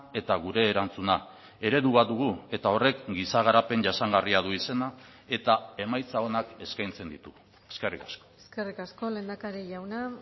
eta gure erantzuna eredu bat dugu eta horrek giza garapen jasangarria du izena eta emaitza onak eskaintzen ditu eskerrik asko eskerrik asko lehendakari jauna